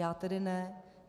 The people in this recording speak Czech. Já tedy ne.